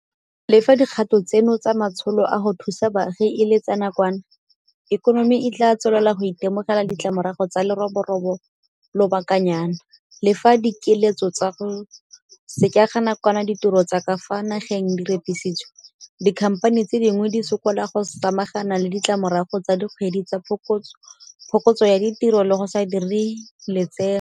Le fa dikgato tseno tsa matsholo a go thusa baagi e le tsa nakwana, ikonomi e tla tswelela go itemogela ditlamorago tsa leroborobo lobakanyana. Le fa dikiletso tsa go sekega nakwana ditiro tsa ka fa nageng di repisitswe, dikhamphani tse dintsi di sokola go samagana le ditlamorago tsa dikgwedi tsa phokotso ya ditiro le go sa direng lotseno.